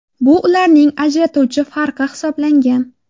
Bu ularning ajratuvchi farqi hisoblangan.